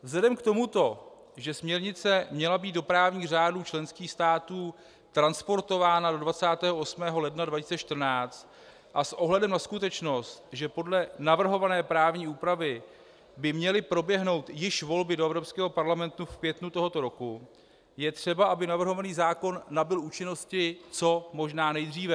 Vzhledem k tomuto, že směrnice měla být do právních řádů členských států transponována do 28. ledna 2014, a s ohledem na skutečnost, že podle navrhované právní úpravy by měly proběhnout již volby do Evropského parlamentu v květnu tohoto roku, je třeba, aby navrhovaný zákon nabyl účinnosti co možná nejdříve.